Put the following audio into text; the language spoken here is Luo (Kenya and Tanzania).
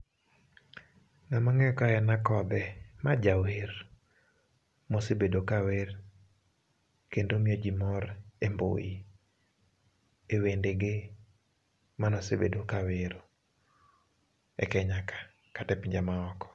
Jomang'eyo ka en Akodhee ma jawer, mosebedo ka wer, kendo miyo ji mor e mbui, e wendege monosebedo kawer e Kenya ka kata e pinje maoko.